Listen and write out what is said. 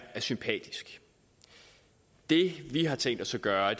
er sympatisk det vi har tænkt os at gøre